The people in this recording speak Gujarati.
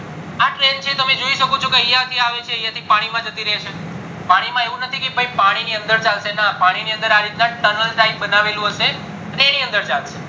તમે જોઈ શકો છો કે યાથી આવે છે યાથી પાણી માં જતી રેય છે પાણી માં આવું નથી કે ભય પાનું પર ચાલશે ના પાણી ની અંદર આ રીતના tunnel type બનાવેલું હયસે એની અંદર ચાલશે